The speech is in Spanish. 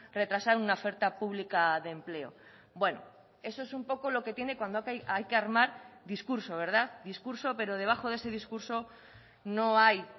retrasar una oferta pública de empleo bueno eso es un poco lo que tiene cuando hay que armar discurso verdad discurso pero debajo de ese discurso no hay